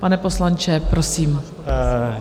Pane poslanče, prosím.